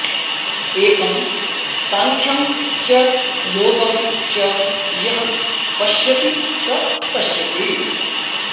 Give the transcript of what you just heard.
एकम् साङ्ख्यम् च योगम् च यः पश्यति स पश्यति